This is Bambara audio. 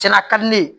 Cɛla ka di ne ye